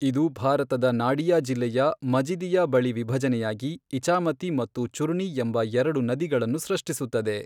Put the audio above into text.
ಇದು ಭಾರತದ ನಾಡಿಯಾ ಜಿಲ್ಲೆಯ ಮಜಿದಿಯಾ ಬಳಿ ವಿಭಜನೆಯಾಗಿ ಇಚಾಮತಿ ಮತ್ತು ಚುರ್ಣಿ ಎಂಬ ಎರಡು ನದಿಗಳನ್ನು ಸೃಷ್ಟಿಸುತ್ತದೆ.